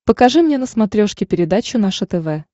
покажи мне на смотрешке передачу наше тв